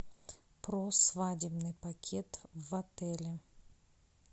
про свадебный пакет в отеле